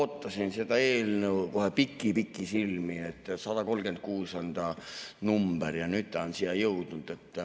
Ootasin seda eelnõu kohe pikisilmi, 136 on ta number ja nüüd ta on siia jõudnud.